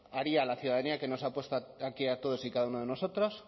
haría a la ciudadanía que nos ha puesto aquí a todos y cada uno de nosotros